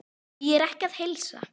Því er ekki að heilsa.